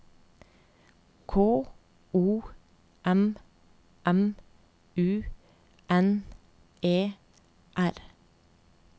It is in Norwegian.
K O M M U N E R